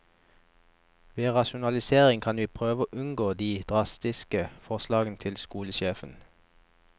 Ved rasjonalisering kan vi prøve å unngå de drastiske forslagene til skolesjefen.